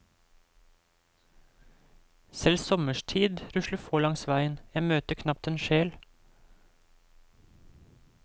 Selv sommerstid rusler få langs veien, jeg møter knapt en sjel.